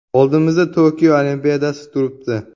Oldimizda Tokio Olimpiadasi turibdi.